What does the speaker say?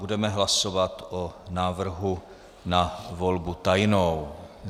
Budeme hlasovat o návrhu na volbu tajnou.